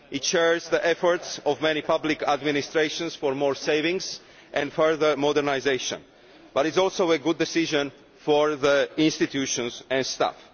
It shares the efforts of many public administrations for more savings and further modernisation, but it is also a good decision for the institutions and staff.